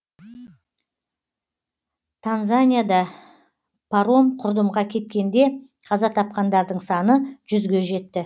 танзанияда паром құрдымға кеткенде қаза тапқандардың саны жүзге жетті